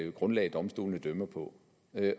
et grundlag domstolene dømmer på